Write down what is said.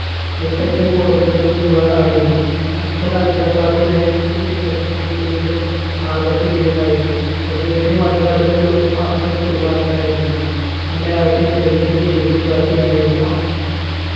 മുത്തച്ഛൻ പോർബന്ദറിൽ ദിവാൻ ആയിരുന്നു അച്ഛൻ അഞ്ചാം class വരെയെ പഠിച്ചിട്ടുള്ളു എങ്കിലും ആദര്ശധീരനായിരുന്നു അദ്ദേഹത്തിന് മതകാര്യങ്ങളിലൊന്നും അത്ര പിടിപാടുണ്ടായിരുന്നില്ല അമ്മയാകട്ടെ തികഞ്ഞ ഈശ്വരവിശ്വാസിയായിരുന്നു 'അമ്മ